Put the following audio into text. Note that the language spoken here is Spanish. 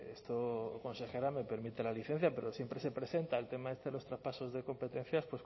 esto consejera me permite la licencia pero siempre se presenta el tema este de los traspasos de competencias